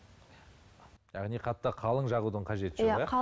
яғни қатты қалың жағудың қажеті жоқ иә